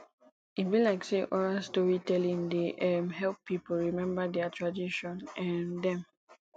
e be like sey oral storytelling dey um help pipo rememba their tradition um dem